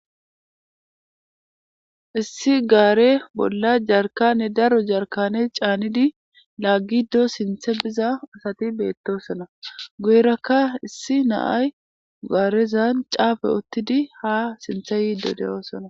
Hayssi garre bolla jarkane darro jarkane canidi lagiddo siinththe biiza adey betoosona guyeraka issi na'ay garezan caafe utiidi ha sinththe yiiddo de'oosona